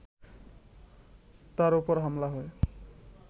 তার ওপর হামলা হয়